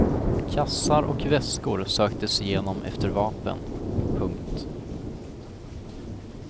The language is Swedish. Kassar och väskor söktes igenom efter vapen. punkt